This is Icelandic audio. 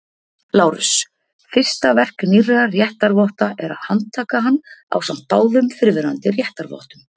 LÁRUS: Fyrsta verk nýrra réttarvotta er að handtaka hann ásamt báðum fyrrverandi réttarvottum.